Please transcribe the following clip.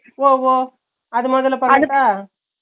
ஒவ் ஒவ் அத முதல்ல பண்ணட்ட